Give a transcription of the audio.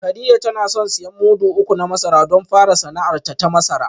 Kadija tana son siyan mudu uku na masara don fara sana’arta ta masara